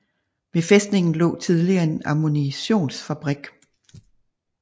Ved fæstningen lå tidligere en ammunitionsfabrik